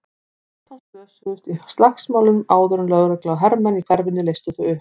Fimmtán manns slösuðust í slagsmálunum áður en lögregla og hermenn í hverfinu leystu þau upp.